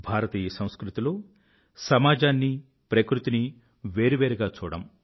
భారతీయ సంస్కృతిలో సమాజాన్నీ ప్రకృతినీ వేరువేరుగా చూడము